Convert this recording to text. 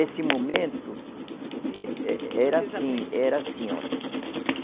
Esse momento. De. Eh, eh, era assim, era assim olhe.